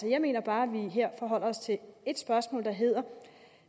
jeg mener bare vi her forholder os til et spørgsmål der hedder